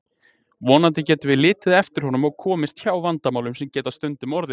Vonandi getum við litið eftir honum og komist hjá vandamálum sem geta stundum orðið.